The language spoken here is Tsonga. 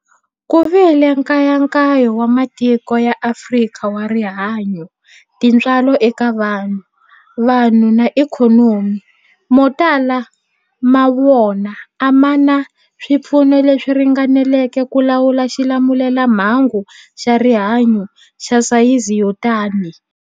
Ku vile nkayakayo wa matiko ya Afrika wa rihanyu, tintswalo eka vanhu, vanhu na ikhonomi, mo tala ma wona a ma na swipfuno leswi ringaneleke ku lawula xilamulelamhangu xa rihanyu xa sayizi yo tani.